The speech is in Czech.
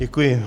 Děkuji.